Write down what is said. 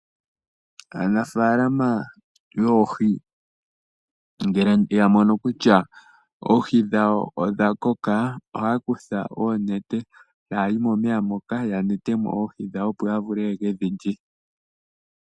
Aanafalama yoohi ngele yamono kutya oohi dhawo odhakoka, ohaya kutha oonete, tayayi momeya moka, yakwatemo oohi dhawo opo yavule yeke dhi lye.